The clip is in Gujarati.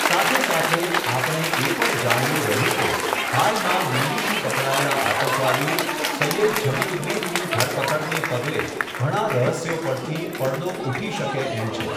સાથે સાથે, આપણે એ પણ જાણવું રહ્યું કે, હાલમાં દિલ્હીથી પકડાયેલા આતંકવાદી સૈયદ ઝબિઉદ્દીનની ધરપકડને પગલે ઘણાં રહસ્યો પરથી પડદો ઊઠી શકે એમ છે.